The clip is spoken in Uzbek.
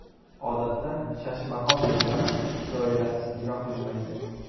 Odatda Shashmaqom yo‘llari doirasiz ijro qilinmaydi.